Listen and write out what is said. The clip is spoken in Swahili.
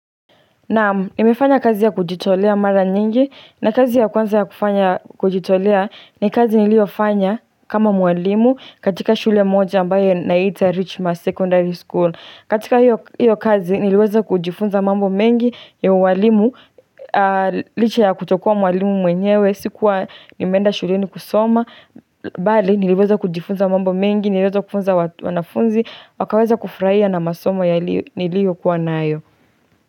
Naam, nimefanya kazi ya kujitolea mara nyingi na kazi ya kwanza ya kufanya kujitolea ni kazi niliofanya kama mwalimu katika shule moja ambayo inaitwa Richmond Secondary School. Katika hiyo kazi niliweza kujifunza mambo mengi ya uwalimu licha ya kutokuwa mwalimu mwenyewe, sikuwa nimeenda shuleni kusoma. Bali niliweza kujifunza mambo mengi, niliweza kufunza wanafunzi, wakaweza kufurahia na masomo niliokuwa nayo.